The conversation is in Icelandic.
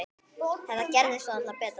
Þetta gerist varla betra.